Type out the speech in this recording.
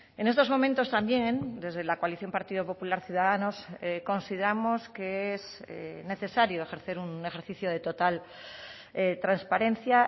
en estos momentos también desde la coalición partido popular ciudadanos consideramos que es necesario ejercer un ejercicio de total transparencia